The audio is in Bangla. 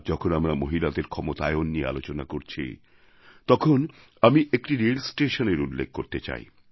আজ যখন আমরা মহিলাদের ক্ষমতায়ন নিয়ে আলোচনা করছি তখন আমি একটি রেলস্টেশনের উল্লেখ করতে চাই